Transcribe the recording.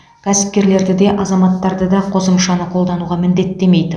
кәсіпкерлерді де азаматтарды да қосымшаны қолдануға міндеттемейді